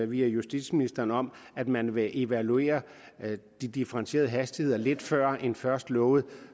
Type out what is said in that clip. via justitsministeren om at man vil evaluere de differentierede hastigheder lidt før end først lovet